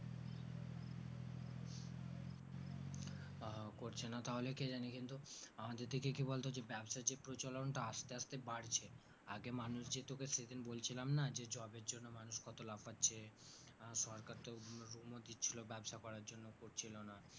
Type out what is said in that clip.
করছে না তাহলে কি জানি কিন্তু আমাদের দিকে কি বলতো ব্যবসা যে প্রচলন টা আস্তে আস্তে বাড়ছে আগে মানুষ যে তোকে সেদিন বলছিলাম না যে job এর জন্য মানুষ কত লাফাচ্ছে আহ সরকার তো room ও দিছিলো ব্যবসা করার জন্য করছিলোনা